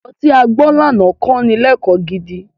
Àlọ́ tí a gbọ́ lánàá kí ni lẹ́kọ̀ọ́ gidi.